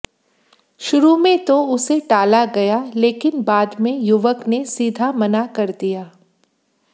शुरू में तो उसे टाला गया लेकिन बाद में युवक ने सीधा मना कर दिया